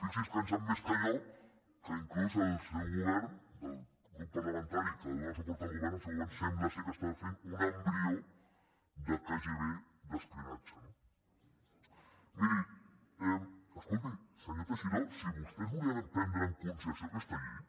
fixi’s si en sap més que jo que inclús el seu govern del grup parlamentari que dóna suport al govern sembla que està fent un embrió de kgb d’espionatge no miri escolti senyor teixidó si vostès volien prendre en consideració aquesta llei